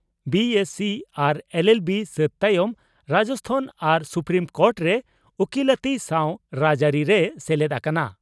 BSc ᱟᱨ LLB ᱥᱟᱹᱛ ᱛᱟᱭᱚᱢ ᱨᱟᱡᱚᱥᱛᱷᱟᱱ ᱟᱨ ᱥᱩᱯᱨᱤᱢ ᱠᱳᱴᱨᱮ ᱩᱠᱤᱞᱟᱹᱛᱤ ᱥᱟᱣ ᱨᱟᱡᱽᱟᱹᱨᱤ ᱨᱮᱭ ᱥᱮᱞᱮᱫ ᱟᱠᱟᱱᱟ ᱾